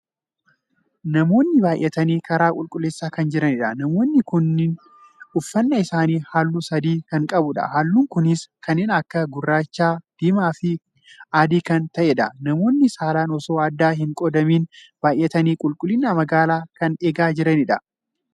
Namoonni baay'atanii karaa qulqulleesaa kan jiranidha. namoonni kun uffannaa isaanii halluu sadii kan qabudha. halluun kunis kanneen akka gurraacha, diimaa fi adii kan tahedha. namoonni saalaan osoo addaan hin qoodamin baay'atanii qulqullinaan magaalaa kan eegaa jiranidha.